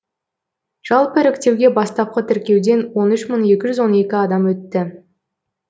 жалпы іріктеуге бастапқы тіркеуден он үш мың екі жүз он екі адам өтті